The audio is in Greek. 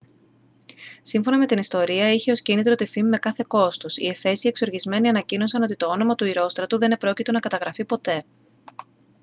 σύμφωνα με την ιστορία είχε ως κίνητρο τη φήμη με κάθε κόστος οι εφέσιοι εξοργισμένοι ανακοίνωσαν ότι το όνομα του ηρόστρατου δεν επρόκειτο να καταγραφεί ποτέ